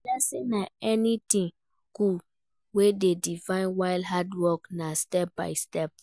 Blessing na anything good wey de divine while hard work na step by step